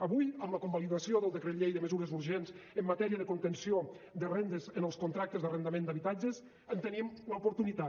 avui amb la convalidació del decret llei de mesures urgents en matèria de contenció de rendes en els contractes d’arrendament d’habitatges en tenim l’oportunitat